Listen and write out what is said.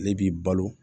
Ale b'i balo